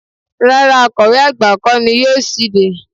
Rárá Akọ̀we àgbà kọ́ ni yóò ṣíde